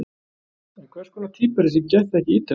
En hvers konar týpa er þessi geðþekki Ítali?